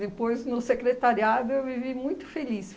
Depois, no secretariado, eu vivi muito feliz.